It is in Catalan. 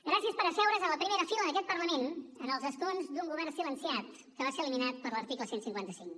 gràcies per asseure’s en la primera fila d’aquest parlament en els escons d’un govern silenciat que va ser eliminat per l’article cent i cinquanta cinc